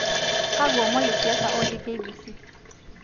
kakwa omon le siasa otii k . b . c